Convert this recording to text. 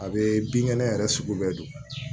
A bɛ binkɛnɛ yɛrɛ sugu bɛɛ don